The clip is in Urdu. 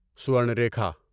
سورن ریکھا